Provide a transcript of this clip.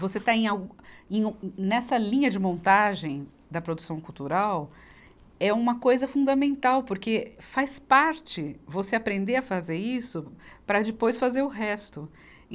Você estar em algu, em ne, nessa linha de montagem da produção cultural é uma coisa fundamental, porque faz parte você aprender a fazer isso para depois fazer o resto.